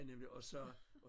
Ja nemlig og så